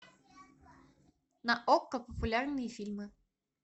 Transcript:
на окко популярные фильмы